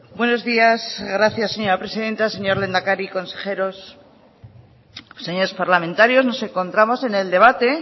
buenos días gracias señora presidenta señor lehendakari consejeros señores parlamentarios nos encontramos en el debate